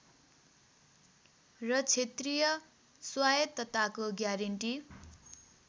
र क्षेत्रीय स्वायत्तताको ग्यारेन्टी